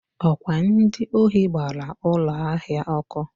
ọ kwa ndị ohi gbara ụlọ ahịa ọkụ.